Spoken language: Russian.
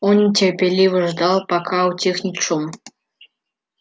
он терпеливо ждал пока утихнет шум